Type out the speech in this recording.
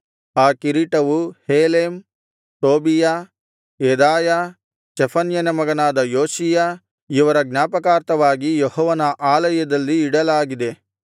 ಆ ಕಿರೀಟವು Helem Tobijah ಯೆದಾಯ ಚೆಫನ್ಯನ ಮಗನಾದ ಯೋಷೀಯ ಇವರ ಜ್ಞಾಪಕಾರ್ಥವಾಗಿ ಯೆಹೋವನ ಆಲಯದಲ್ಲಿ ಇಡಲಾಗಿದೆ